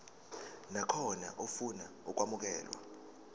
nakhona ofuna ukwamukelwa